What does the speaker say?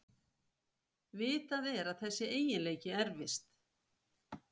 Vitað er að þessi eiginleiki erfist.